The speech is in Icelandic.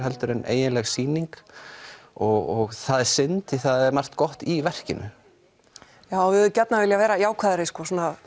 en eiginleg sýning og það er synd því það er margt gott í verkinu já við hefðum viljað vera jákvæðari svona